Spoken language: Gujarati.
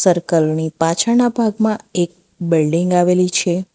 સર્કલ ની પાછળના ભાગમાં એક બિલ્ડીંગ આવેલી છે.